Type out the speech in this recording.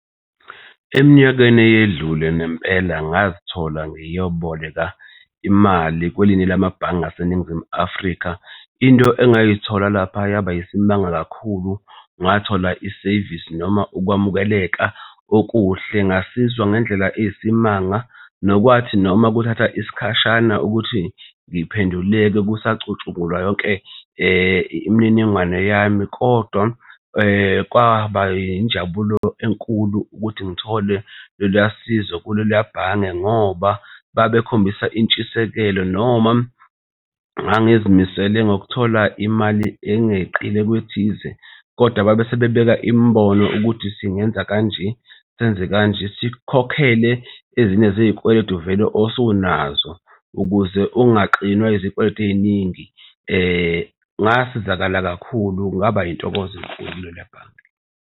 Eminyakeni eyedlule nempela ngazithola ngiyoboleka imali kwelinye lamabhange aseNingizimu Afrika. Into engayithola laphaya yaba isimanga kakhulu ngathola isevisi noma ukuwamukeleka okuhle ngasizwa ngendlela eyisimanga, nokwathi noma kuthatha isikhashana ukuthi ngiphendulelwe kusacutshungulwa yonke imininingwane yami. Kodwa kwaba njabulo enkulu ukuthi ngithole loluya sizo kuleliya bhange ngoba babekhombisa intshisekelo noma ngangizimisele ngokuthola imali engeqile kwethize, kodwa babe sebebeka imibono ukuthi singenza kanje, senze kanje, sikhokhele ezinye zey'kweletu vele osunazo ukuze ungaxinwa izikweletu ey'ningi. Ngasizakala kakhulu ngaba yintokozo enkulu kuleliya bhange.